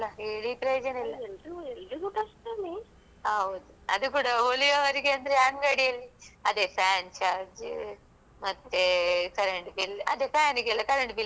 ಹೌದು ಅದು ಕೂಡ ಹೋಲಿಯುವವರಿಗ ಅಂದ್ರೆ ಅಂಗಡಿ ಅಲ್ಲಿ ಅದೆ fan charge ಮತ್ತೇ current bill ಅದೆ fan ಗೆಲ್ಲ current bill ಅಂತೆಲ್ಲ ಹೇಳ್ತಾರೆ ಅದೆಲ್ಲ ಕಟ್ಬೇಕಲ್ವಾ?